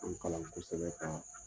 kalan kosɛbɛ